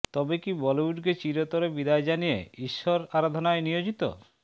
তবে কি বলিউডকে চিরতরে বিদায় জানিয়ে ঈশ্বর আরাধনায় নিয়োজিত